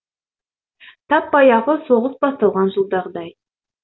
тап баяғы соғыс басталған жылғыдай